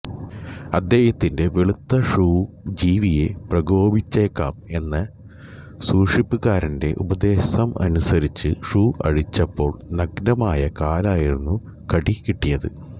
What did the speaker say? അദ്ദേഹത്തിന്റെ വെളുത്ത ഷൂ ജീവിയെ പ്രകോപിച്ചേക്കാം എന്ന സൂക്ഷിപ്പുകാരന്റെ ഉപദേശമനുസരിച്ച് ഷൂ അഴിച്ചപ്പോൾ നഗ്നമായ കാലിലായിരുന്നു കടി കിട്ടിയത്